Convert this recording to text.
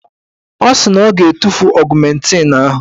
Ọ sị na ọ ga-etufu ọgụmentịn ahụ.